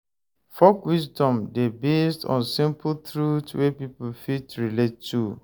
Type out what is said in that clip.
Folk wisdom dey based on simple truth wey pipo fit relate to